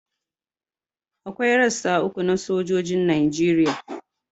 Akwai rassa uku na sojojin Najeriya